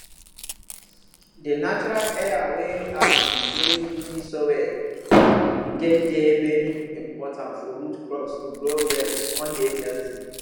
di natural air wey um dey loamy soil get dey very important for root crops to grow well con dey healthy